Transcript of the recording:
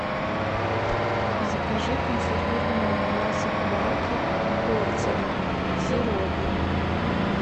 закажи консервированные ананасы в банке кольцами в сиропе